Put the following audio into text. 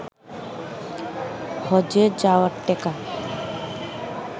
হজ্বে যাওয়ার টেকা